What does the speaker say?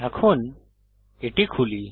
এখন এটি খুলি